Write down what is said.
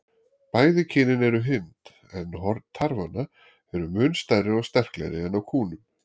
Bæði kynin eru hyrnd, en horn tarfanna eru mun stærri og sterklegri en á kúnum.